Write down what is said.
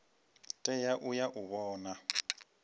tea u ya u vhona